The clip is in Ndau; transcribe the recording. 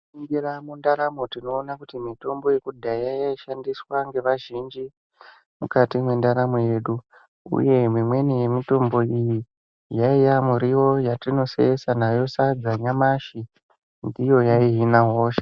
Tinganingira mundaramo tinoona kuti mitombo yekudhaya inoshandiswa ngevazhinji mukati mwendaramo yedu uye imweni yemitombo iyi yaiya miriwo yatinoseesa nayo sadza nyamashi kuti iyo yaihina hosha.